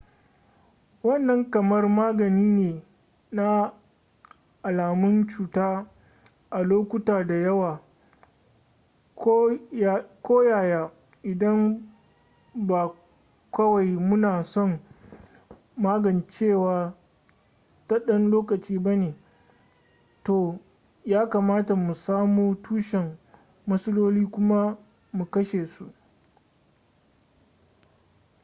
wannan kamar magani ne na alamun cuta a lokuta da yawa koyaya idan ba kawai muna son magancewa ta ɗan lokaci ba ne to ya kamata mu samo tushen matsalolin kuma mu kashe su